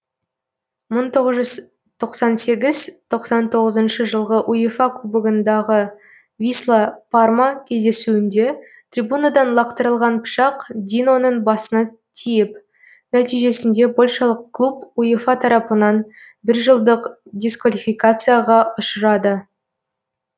мың сегіз жүз тоқсан сегіз тоқсан тоғызыншы жылғы уефа кубогындағы висла парма кездесуінде трибунадан лақтырылған пышақ диноның басына тиіп нәтижесінде польшалық клуб уефа тарапынан бір жылдық дисквалификацияға ұшырады